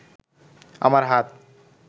আমার হাত